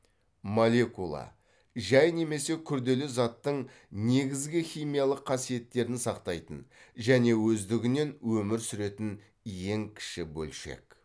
молекула жай немесе күрделі заттың негізгі химиялық қасиеттерін сақтайтын және өздігінен өмір сүретін ең кіші бөлшек